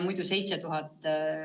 Seda teeb 2000 õpilast.